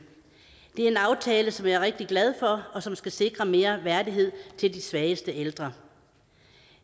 det er en aftale som jeg er rigtig glad for og som skal sikre mere værdighed til de svageste ældre